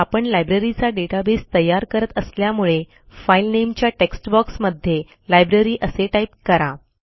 आपण लायब्ररीचा डेटाबेस तयार करत असल्यामुळे फाइल नामे च्या टेक्स्ट बॉक्स मध्ये लायब्ररी असे टाईप करा